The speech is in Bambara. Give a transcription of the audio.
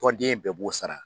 Tɔnden bɛɛ b'o sara.